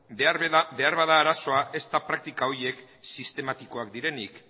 beharbada arazoa ez da praktika horiek sistematikoak direnik